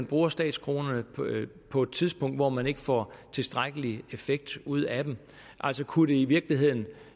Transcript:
bruge statskronerne på et tidspunkt hvor man ikke får tilstrækkelig effekt ud af dem kunne det i virkeligheden